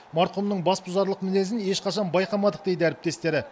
марқұмның басбұзарлық мінезін ешқашан байқамадық дейді әріптестері